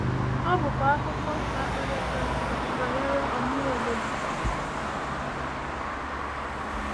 Ọ bụkwa akụkọ na-akpali akpali banyere ọmụmụ obodo.